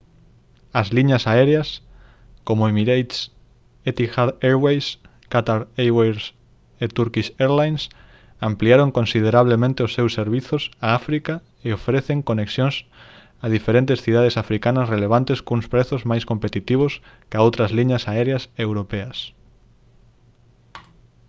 as liñas aéreas como emirates etihad airways qatar airways e turkish airlines ampliaron considerablemente os seus servizos a áfrica e ofrecen conexións a diferentes cidades africanas relevantes cuns prezos máis competitivos ca outras liñas aéreas europeas